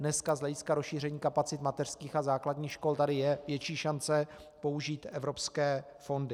Dneska z hlediska rozšíření kapacit mateřských a základních škol tady je větší šance použít evropské fondy.